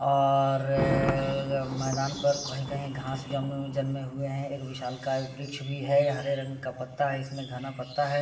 और मैदान पर कही-कही घास जम जन्मे हुए है एक विशालकाय वृक्ष भी है हरे रंग का पत्ता है इसमें घना पत्ता है ।